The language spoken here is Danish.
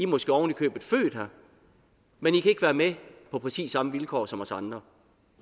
måske ovenikøbet født her men i kan ikke være med på præcis samme vilkår som os andre